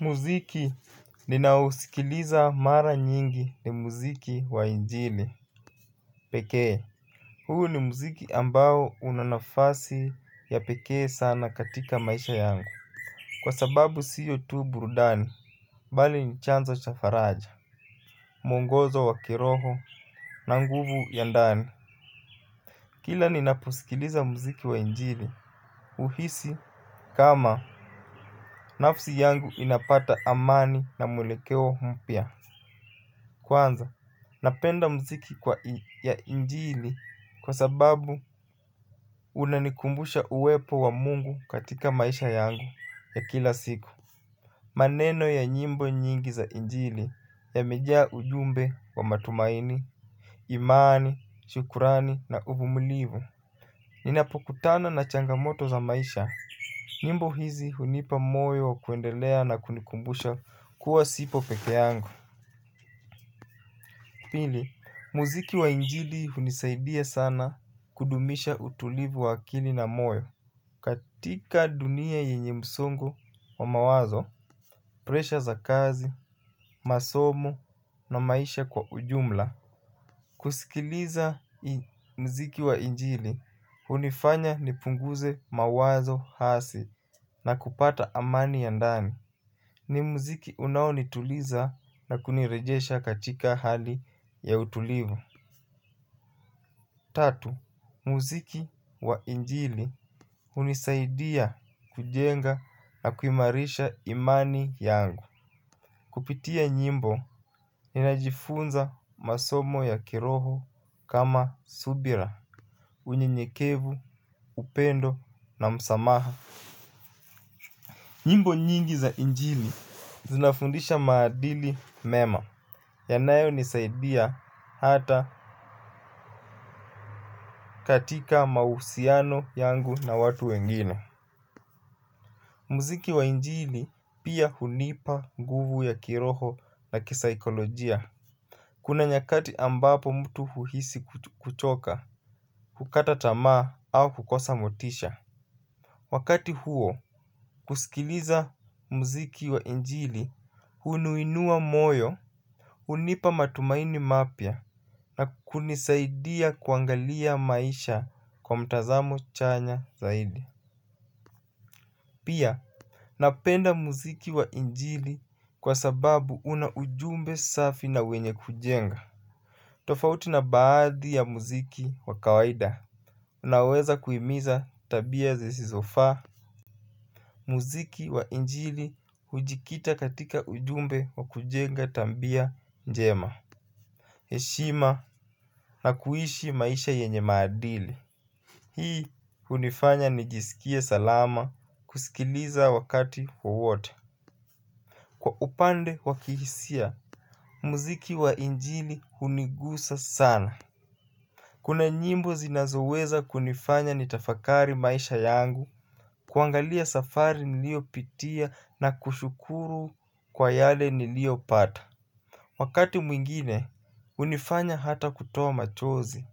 Muziki ninaousikiliza mara nyingi ni muziki wa injili pekee. Huu ni muziki ambao una nafasi ya pekee sana katika maisha yangu kwa sababu sio tu burudani bali ni chanzo za faraja. Mwongozo wa kiroho na nguvu ya ndani kila ninaposikiliza muziki wa injili uhisi kama nafsi yangu inapata amani na mwelekeo mpya. Kwanza, napenda muziki ya injili kwa sababu unanikumbusha uwepo wa mungu katika maisha yangu ya kila siku. Maneno ya nyimbo nyingi za injili yamejaa ujumbe wa matumaini, imani, shukrani na uvumilivu. Ninapokutana na changamoto za maisha nyimbo hizi hunipa moyo wa kuendelea na kunikumbusha kuwa sipo pekee yangu. Pili, muziki wa injili hunisaidia sana kudumisha utulivu wa akili na moyo. Katika dunia yenye msongo wa mawazo, presha za kazi, masomo na maisha kwa ujumla kusikiliza muziki wa injili, hunifanya nipunguze mawazo hasi na kupata amani ya ndami ni muziki unaonituliza na kunirejesha katika hali ya utulivu. Tatu, muziki wa injili hunisaidia kujenga na kuimarisha imani yangu. Kupitia nyimbo ninajifunza masomo ya kiroho kama subira unyenyekevu, upendo na msamaha. Nyimbo nyingi za injili zinafundisha maadili mema yanayonisaidia hata katika mahusiano yangu na watu wengine. Muziki wa injili pia hunipa guvu ya kiroho na kisaikolojia. Kuna nyakati ambapo mtu huhisi kuchoka, kukata tamaa au kukosa motisha. Wakati huo, kusikiliza mziki wa injili uniinua moyo, hunipa matumaini mapya na kunisaidia kuangalia maisha kwa mtazamo chanya zaidi. Pia, napenda muziki wa injili kwa sababu una ujumbe safi na wenye kujenga. Tofauti na baadhi ya muziki wa kawaida unaweza kuhimiza tabia zisizofaa. Muziki wa injili hujikita katika ujumbe wa kujenga tabia njema heshima na kuishi maisha yenye maadili. Hii hunifanya nijisikie salama kusikiliza wakati wowote. Kwa upande wa kihisia, muziki wa injili hunigusa sana kuna nyimbo zinazoweza kunifanya nitafakari maisha yangu. Kuangalia safari niliopitia na kushukuru kwa yale niliopata wakati mwingine hunifanya ata kutoa machozi.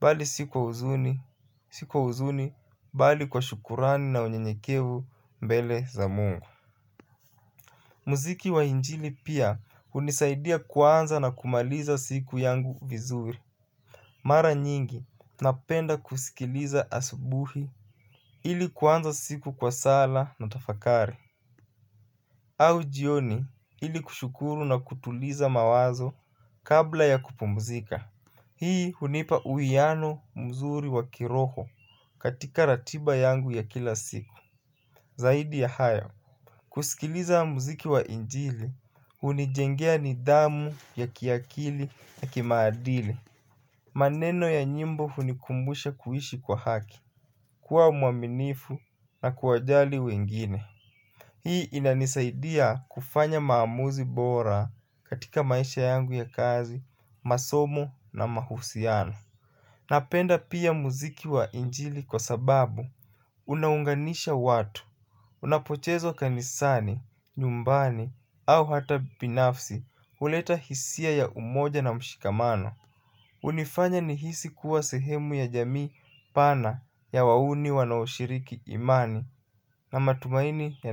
Bali si kwa huzuni, si kwa huzuni, bali kwa shukrani na unyenyekevu mbele za mungu. Muziki wa injili pia hunisaidia kuanza na kumaliza siku yangu vizuri. Mara nyingi napenda kusikiliza asubuhi ili kuanza siku kwa sala na tafakari au jioni ili kushukuru na kutuliza mawazo kabla ya kupumzika. Hii hunipa uhiano mzuri wa kiroho katika ratiba yangu ya kila siku. Zaidi ya haya kusikiliza muziki wa injili, hunijengea nidhamu ya kiakili na kimaadili. Maneno ya nyimbo hunikumbusha kuishi kwa haki, kuwa mwaminifu na kuwajali wengine hii inanisaidia kufanya maamuzi bora katika maisha yangu ya kazi masomo na mahusiano napenda pia muziki wa injili kwa sababu unaunganisha watu. Unapochezwa kanisani, nyumbani au hata binafsi huleta hisia ya umoja na mshikamano hunifanya nihisi kuwa sehemu ya jamii pana ya wauni wanaoshiriki imani na matumaini ya.